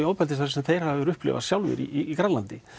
ofbeldisverk sem þeir hafa upplifað sjálfir í Grænlandi